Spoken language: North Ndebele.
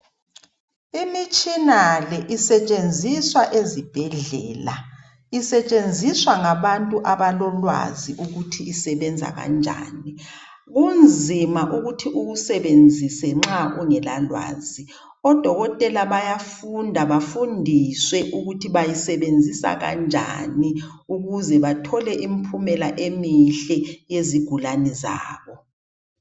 Imitshina le isetshenziswa ezibhedlela. Isetshenziswa ngabantu abalolwazi ukuthi isebenza kanjani. Kunzima ukuthi uwusebenzise nxa ungela lwazi. Odokotela bayafunda bafundiswe ukuthi bayisenzisa kanjani ukuze bathole impumela emihle yezigulane zabo.